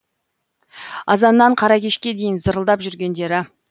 азаннан қара кешке дейін зырылдап жүргендері